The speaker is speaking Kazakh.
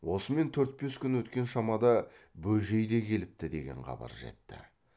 осымен төрт бес күн өткен шамада бөжей де келіпті деген хабар жетті